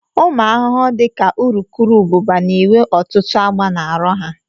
Ụmụ arụrụ dị ka urukurubụba na-enwe ọtụtụ agba na arụ ha